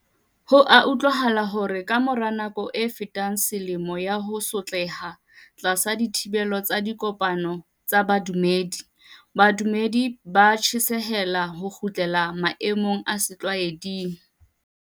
Ho a utlwahala hore ka mora nako e fetang selemo ya ho sotleha tlasa dithibelo tsa dipokano tsa bodumedi, badumedi ba tjhesehela ho kgutlela maemong a setlwa eding.